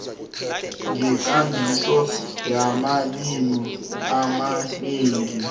ngekambiso yamalimi amanengi